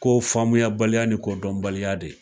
Ko famuya baliya ni kɔdɔnbaliya de